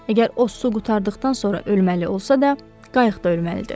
Əgər o su qurtardıqdan sonra ölməli olsa da, qayıqda ölməlidir.